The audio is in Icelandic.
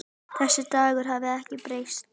Þessi Dagur hefur ekkert breyst.